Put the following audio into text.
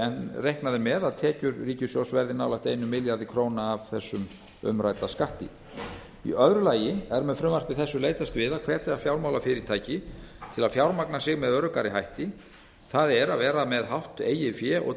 en reiknað er með að tekjur ríkissjóðs verði nálægt einum milljarði króna af þessum umrædda skatti í öðru lagi er með frumvarpi þessu leitast við að hvetja fjármálafyrirtæki til að fjármagna sig með öruggari hætti það er að vera með hátt eigið fé og